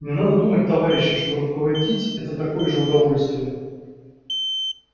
не надо думать товарищи что руководить это такое уж удовольствие